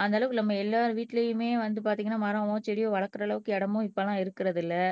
அந்தளவுக்கு நம்ம எல்லார் வீட்டுலையுமே வந்து பாத்தீங்கன்னா மரமோ செடியோ வளர்க்கிற அளவுக்கு இடமும் இப்ப எல்லாம் இருக்கிறது இல்லை